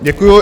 Děkuju.